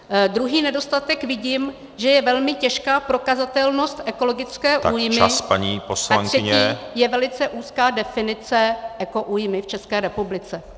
Druhý nedostatek vidím, že je velmi těžká prokazatelnost ekologické újmy a třetí je velice úzká definice ekoújmy v České republice.